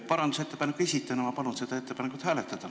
Parandusettepaneku esitajana ma palun seda ettepanekut hääletada.